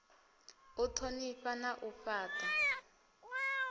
u thonifha na u fhata